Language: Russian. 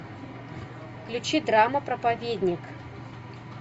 включи драма проповедник